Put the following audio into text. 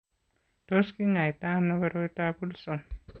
Tos kinyaita ano koroitoab Wilson?